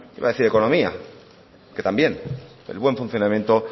iba a decir economía que también el buen funcionamiento